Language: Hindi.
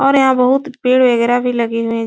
और यहाँ बहुत पेड़ वगैरा भी लगे हुए --